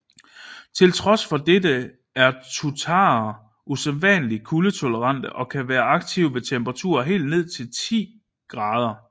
Til trods for dette er tuataraer usædvanligt kuldetolerante og kan være aktive ved temperaturer helt ned til 10 oC